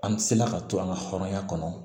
An se la ka to an ka hɔrɔnya kɔnɔ